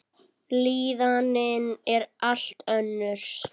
Líðanin er allt önnur.